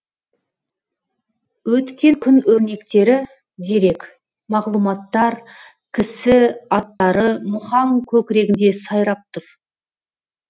өткен күн өрнектері дерек мағлұматтар кісі аттары мұхаң көкірегінде сайрап тұр